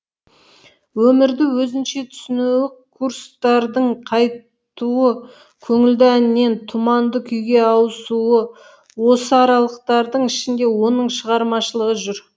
өмірді өзінше түсінуі курстардың қайтуы көңілді әннен тұманды күйге ауысуы осы аралықтардың ішінде оның шығармашылығы жүр